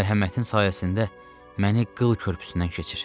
mərhəmətin sayəsində məni qıl körpüsündən keçir.